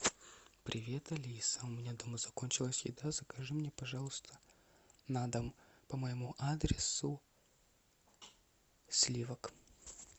привет алиса у меня дома закончилась еда закажи мне пожалуйста на дом по моему адресу сливок